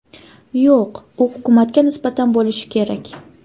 Yo‘q, u hukumatga nisbatan bo‘lishi kerak.